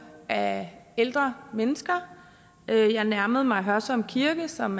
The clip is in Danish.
af ældre mennesker jeg nærmede mig hørsholm kirke som